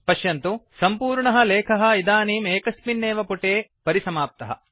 पश्यन्तु सम्पूर्णः लेखः इदानीम् एकस्मिन्नेव पुटे परिसमाप्तः